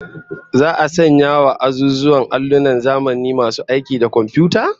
Za'a sanya wa azuzuwan allunan zamani masu aiki da komfiyuta?